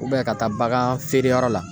ka taa bagan feere yɔrɔ la